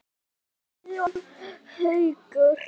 Og ég óttast það ekki.